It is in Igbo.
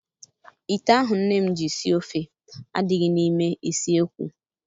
Ite ahụ nne m ji sie ofe adịghị n'ime isiekwu.